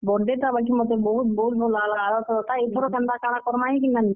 Birthday ଟା ବାକି ମତେ ବହୁତ୍ ବହୁତ୍ ଭଲ୍ ଲାଗ୍ ଲା ଆର ଥରର୍ ଟା, ଇଥର କେନ୍ତା କାଣା କର୍ ମା ଯେ ନିଜାନି।